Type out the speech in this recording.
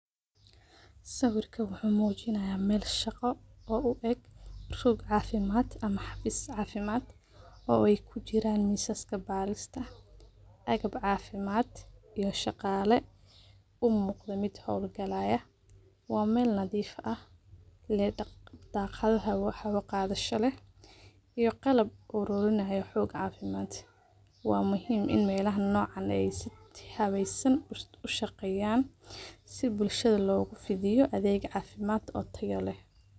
Sawirkan wuxu mujinaya meel shaqo oo ueg rog cafimad ama xafis cafimad oo ey kujiran qalabka barista agab cafimad iyo shaqale umuqda mid howlgalayo wa meel nadif ah leeh daqada hawo qadasha lee iyo qalab arurinayo dawo cafimad wa muhiim in ey melaha noceen si fican ushaqeyan sii bulshada logufafiyo adheeg cafimad oo tayo leeh.